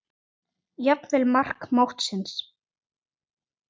Jafnvel mark mótsins?